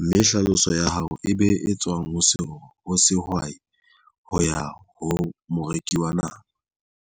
mme hlaloswa ya hao e be e tswang. Ho se ho sehwai ho ya ho moreki wa nama.